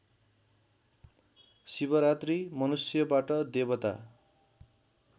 शिवरात्रि मनुष्यबाट देवता